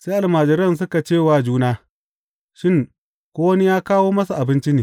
Sai almajiran suka ce wa juna, Shin, ko wani ya kawo masa abinci ne?